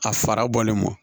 A fara bɔlen kɔ